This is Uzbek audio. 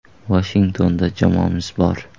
Vashingtonda jamoamiz bor.